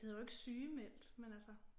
Det hedder jo ikke sygemeldt men altså